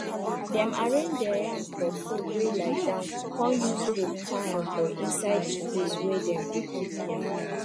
dem arrange dere yam for pole wey lie down con use rope tie am for inside de place wey dem dey keep yam